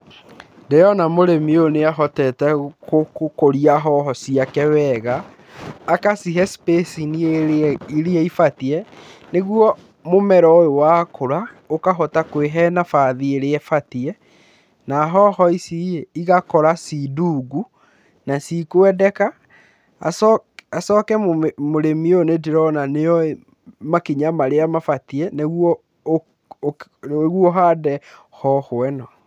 Ndĩrona mũrĩmi ũyũ nĩ ahotete gũkũria hoho ciake wega, agacihe spacing ĩrĩa iria ibatiĩ nĩguo mũmera ũyũ wakũra ũkahota kũĩhe nabathi ĩrĩa ĩbatiĩ, na hoho ici igakora ci ndungu na ci kwendeka. Acoke mũrĩmi ũyũ nĩ ndĩrona nĩ oĩ makinya marĩa mabatiĩ nĩguo ũhande hoho ĩno.